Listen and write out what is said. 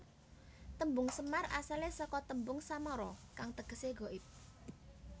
Tembung Semar asale saka tembung samara kang tegese ghaib